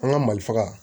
An ka mali faga